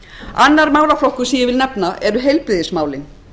annar málaflokkur sem ég vil nefna eru heilbrigðismálin